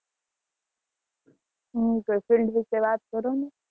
હ તો એ field વિશે વાત કરો ને